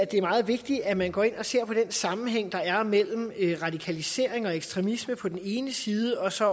det er meget vigtigt at man går ind og ser på den sammenhæng der er mellem radikalisering og ekstremisme på den ene side og så